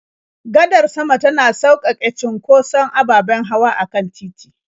Gadar sama tana sauƙaƙe cunkoson ababen hawa a kan titi.